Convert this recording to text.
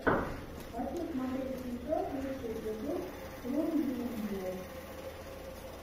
хочу смотреть сейчас лучший эпизод кронгеймблог